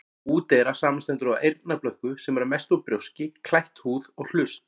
Úteyra samanstendur af eyrnablöðku, sem er að mestu út brjóski, klætt húð, og hlust.